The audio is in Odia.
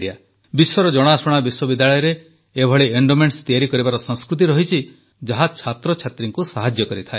ବିଶ୍ୱର ଜଣାଶୁଣା ବିଶ୍ୱବିଦ୍ୟାଳୟରେ ଏପରି ଏଣ୍ଡୋମେଣ୍ଟସ୍ ତିଆରି କରିବାର ସଂସ୍କୃତି ରହିଛି ଯାହା ଛାତ୍ରଛାତ୍ରୀଙ୍କୁ ସାହାଯ୍ୟ କରିଥାଏ